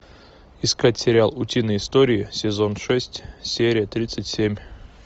искать сериал утиные истории сезон шесть серия тридцать семь